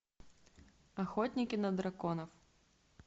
охотники на драконов